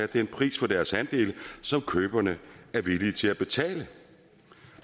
den pris for deres andele som køberne er villige til at betale